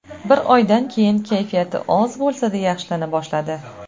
Bir oydan keyin kayfiyati oz bo‘lsada yaxshilana boshladi.